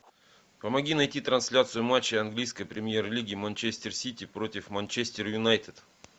помоги найти трансляцию матча английской премьер лиги манчестер сити против манчестер юнайтед